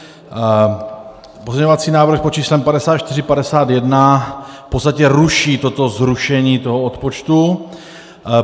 Pozměňovací návrh pod číslem 5451 v podstatě ruší toto zrušení toho odpočtu.